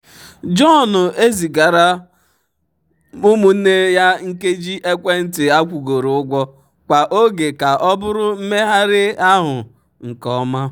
john na-ezigara ụmụnne ya nkeji ekwentị akwụgoro ụgwọ kwa oge ka ọ bụrụ mmegharị ahụ nke ọma. um